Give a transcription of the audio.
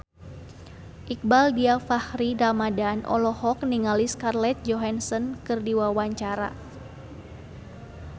Iqbaal Dhiafakhri Ramadhan olohok ningali Scarlett Johansson keur diwawancara